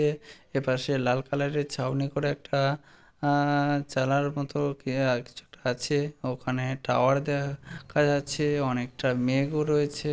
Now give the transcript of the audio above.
এ। এপাশে লাল কালার এর ছাউনি করে একটা আ চালার মতো কে আর কিছু আছে। ওখানে টাওয়ার দেয়া যাচ্ছে। অনেকটা মেঘও রয়েছে।